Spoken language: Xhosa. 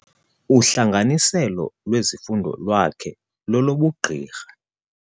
Uhlanganiselo lwezifundo lwakhe lolobugqirha.